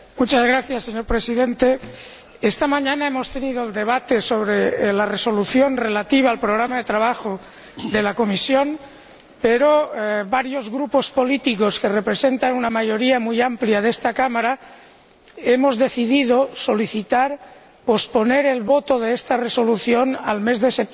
Señor Presidente, esta mañana hemos tenido el debate sobre la Resolución relativa al programa de trabajo de la Comisión, pero varios grupos políticos que representan una mayoría muy amplia de esta Cámara hemos decidido solicitar el aplazamiento de la votación de esta Resolución hasta el mes de septiembre,